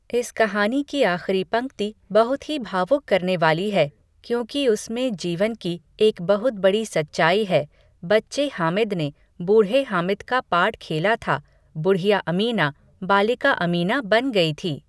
इस कहानी की आख़िरी पंक्ति बहुत ही भावुक करने वाली है क्योंकि उसमें जीवन की एक बहुत बड़ी सच्चाई है, बच्चे हामिद ने बूढ़े हामिद का पार्ट खेला था बुढ़िया अमीना, बालिका अमीना बन गई थी।